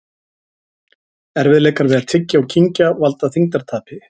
Erfiðleikar við að tyggja og kyngja valda þyngdartapi.